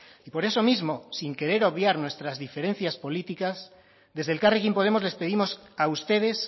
y por eso mismo sin querer obviar nuestras diferencias políticas desde elkarrekin podemos les pedimos a ustedes